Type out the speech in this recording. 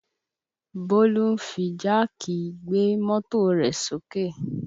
Bọlá fi jáàkì gbé mọ́tò rẹ̀ sókè